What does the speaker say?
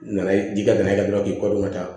U nana ji ka na n'a ye dɔrɔn k'i kɔ don ka taa